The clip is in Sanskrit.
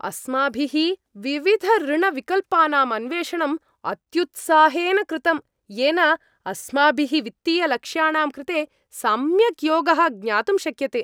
अस्माभिः विविधऋणविकल्पानां अन्वेषणम् अत्युत्साहेन कृतम्, येन अस्माभिः वित्तीयलक्ष्याणां कृते सम्यक् योगः ज्ञातुं शक्यते।